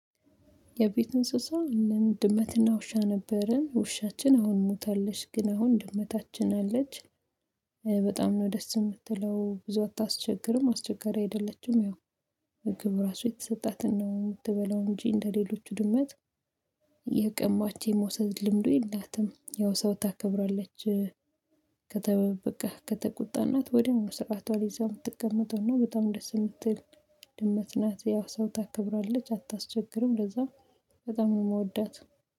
የቤት እንስሳ እንደ ድመትና ውሻ ነበረን ውሻችን አሁን ሞታለች ግን አሁን ድመታችን አለች። በጣም ነው ደስ የምትለው ብዙ አታስቸግርም አስቸጋሪ አይደለችም። ያው ምግብ እራሱ የተሰጣትን ነው የምትበላው እንጂ እንደሌሎቹ ድመት እየቀማች የመውሰድ ልምዱ የላትም። ያው ሰው ታከብራለች። ከተበበቀህ ከተቁጣናት ወዲያው መውሰቃቷን ይዛው የምትቀመጡት በጣም ደስ የምትል ድመት ናት። ያው ሰው ታከብራለች አታስቸግርም ለዛም በጣም ነው የምወዳት